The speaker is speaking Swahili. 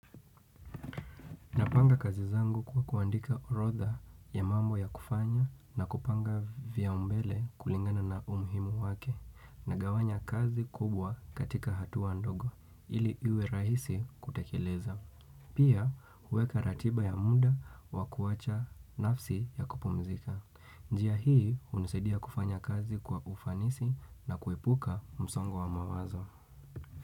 Napanga kazi zangu kwa kuandika orodha ya mambo ya kufanya na kupanga vya umbele kulingana na umuhimu wake na gawanya kazi kubwa katika hatuwa ndogo ili iwe rahisi kutekeleza. Pia huweka ratiba ya muda wa kuwacha nafsi ya kupumzika. Njia hii hunisaidia kufanya kazi kwa ufanisi na kuepuka msongo wa mawazo.